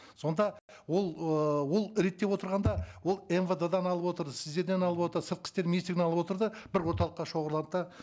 сонда ол ыыы ол реттеп отырғанда ол мвд дан алып отыр сіздерден алып отыр сыртқы істер министрлігінен алып отыр да бір орталыққа шоғырланып та